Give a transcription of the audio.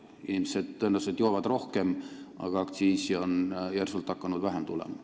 Inimesed tõenäoliselt joovad rohkem, aga aktsiisi on hakanud järsult vähem tulema.